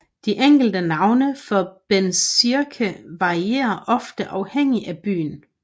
De enkelte navne for bezirke varierer ofte afhængig af byen